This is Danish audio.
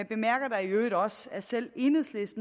bemærker da i øvrigt også at enhedslisten selv